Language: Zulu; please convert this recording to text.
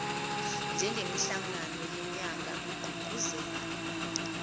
njengemihlangano yenyanga kugqugquzelwa